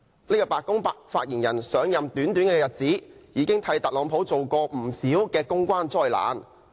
這位白宮發言人上任短短日子，已經為特朗普帶來不少公關災難。